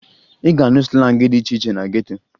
Ị ga-anụ slangị dị iche iche na geto